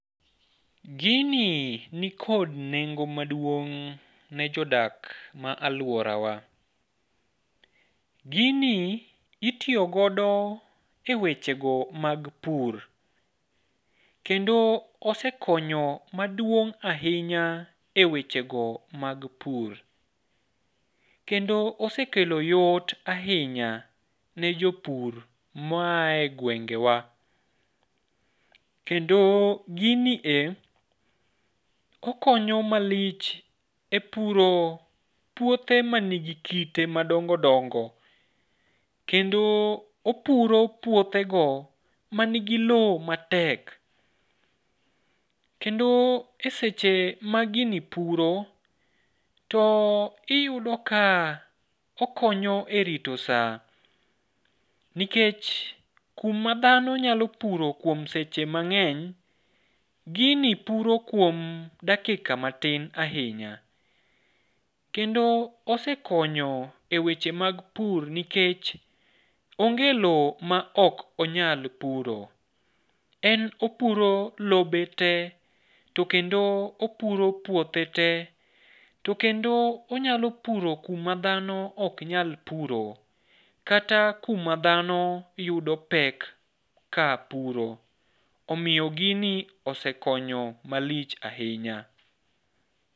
Gini nikod nengo maduong' ne jodak ma aluorawa. Gini itiyo godo e wechego mag pur. Kendo osekonyo maduong' ahinya e wechego mag pur. Kendo osekelo yot ahinya ne jopur maaye gwengewa. Kendo gini e okonyo malich e puro puothe manigi kite madongo dongo. Kendo opuro puothego manigi loo matek. Kendo e seche magini puro to iyudo ka okonyo e rito saa, nikech kuma dhano nyalo puro kuom seche mang'eny, gini puro kuom dakika matin ahinya. Kendo osekonyo e weche mag pur, nikech onge loo maok onyal puro. En opuro lobe tee to kendo opuro puothe tee. To kendo onyalo puro kuma dhano oknyal puro, kata kuma dhano yudo pek kapuro. Omiyo gini osekonyo malich ahinya.